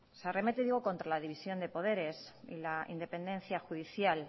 se arremete digo contra la división de poderes y la independencia judicial